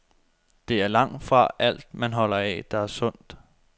Det er langtfra alt, man holder af, der er sundt.